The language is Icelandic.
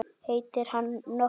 Heitir hann nokkuð Logi?